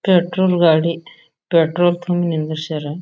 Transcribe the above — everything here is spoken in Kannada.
ಪೆಟ್ರೋಲ್ ಗಾಡಿ. ಪೆಟ್ರೋಲ್ ತುಂಬಿ ನಿಂದಿರ್ಸ್ಯಾರ.